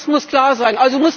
Das muss klar sein.